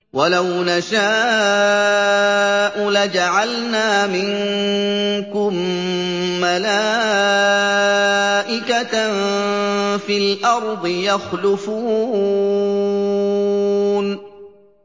وَلَوْ نَشَاءُ لَجَعَلْنَا مِنكُم مَّلَائِكَةً فِي الْأَرْضِ يَخْلُفُونَ